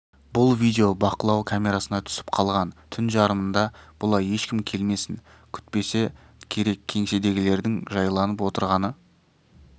бұл видео бақылау камерасына түсіп қалған түн жарымында бұлай ешкім келмесін күтпесе керек кеңседегілердің жайланып отырғаны